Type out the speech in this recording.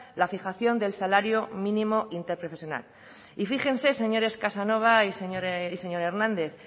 la fijación del salario mínimo interprofesional y fíjense señores casanova y señor hernández